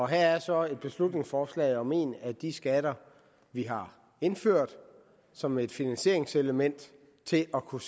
her er så et beslutningsforslag om en af de skatter vi har indført som et finansieringselement til at kunne